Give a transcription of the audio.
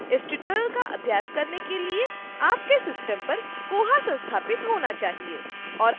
इस tutorial का अभ्यास करने के लिए आपके system पर koha संस्थापित होना चाहिए